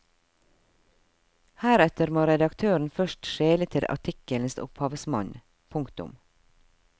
Heretter må redaktøren først skjele til artikkelens opphavsmann. punktum